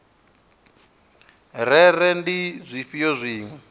rere uri ndi zwifhio zwine